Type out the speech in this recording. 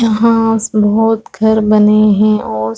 यहाँ स बहोत घर बने है और --